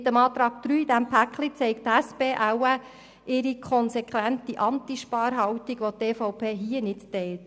Mit dem Antrag 3, diesem Paket, zeigt die SP wahrscheinlich ihre konsequente Anti-Sparhaltung, welche die EVP in dieser Sache nicht teilt.